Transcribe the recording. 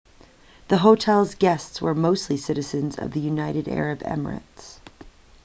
the hostel's guests were mostly citizens of the united arab emirates